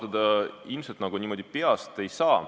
Ma niimoodi peast arvutada ilmselt ei saa.